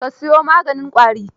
Ka siyo maganin ƙwarin?